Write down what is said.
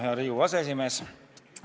Hea Riigikogu aseesimees!